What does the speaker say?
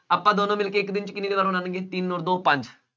ਆਪਾਂ ਦੋਨੋ ਮਿਲਕੇ ਇੱਕ ਦਿਨ ਚ ਕਿੰਨੀਆਂ ਦੀਵਾਰਾਂ ਬਣਾਉਣਗੇ, ਤਿੰਂਨ ਅੋਰ ਦੋ ਪੰਜ।